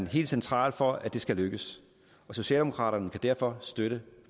helt central for at det skal lykkes socialdemokraterne kan derfor støtte